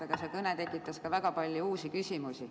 Aga see kõne tekitas ka väga palju uusi küsimusi.